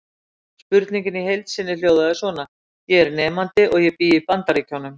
Spurningin í heild sinni hljóðaði svona: Ég er nemandi og ég bý í Bandaríkjum.